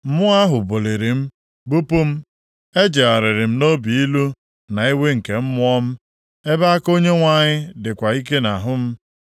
Mmụọ ahụ buliri m, bupụ m. Ejegharịrị m nʼobi ilu na iwe nke mmụọ m, ebe aka Onyenwe anyị dịkwa ike nʼahụ m.